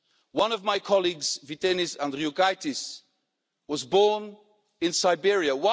One of my colleagues, Vytenis Andriukaitis, was born in Siberia.